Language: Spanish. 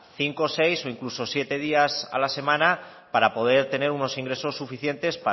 cinco seis o incluso siete días a la semana para poder tener unos ingresos suficientes